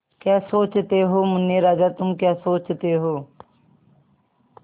क्या सोचते हो मुन्ने राजा तुम क्या सोचते हो